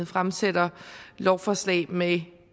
fremsætter lovforslag med